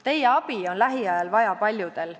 Teie abi on lähiajal vaja paljudel.